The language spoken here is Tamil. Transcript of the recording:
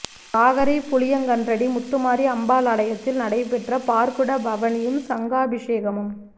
வாகரை புளியங்கன்றடி முத்துமாரி அம்பாள் ஆலயதில் நடைபெற்ற பாற்குட பவணியும் சங்காபிசேகமும்